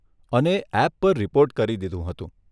અને એપ પર રિપોર્ટ કરી દીધું હતું.